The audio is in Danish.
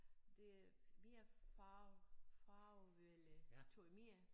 Det er mere far farvede tøj mere